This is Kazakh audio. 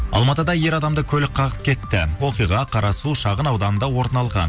алматыда ер адамды көлік қағып кетті оқиға қарасу шағын ауданында орын алған